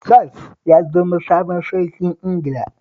Charles ya zama sabon sarkin Ingila